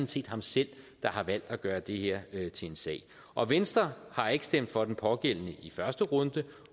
set ham selv der har valgt at gøre det her til en sag og venstre har ikke stemt for den pågældende i første runde